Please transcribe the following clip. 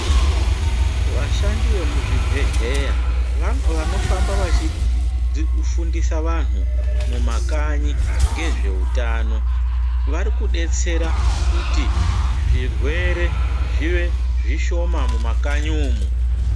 Vashandi vemuzvibhedhlera vanofamba vechifamba vechifundisa vanhu mumakanyi nezveutano varikubetsera kuti zvirwere zbive zvishoma mumakanyi umu.